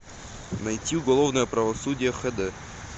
найти уголовное правосудие хд